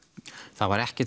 það var ekkert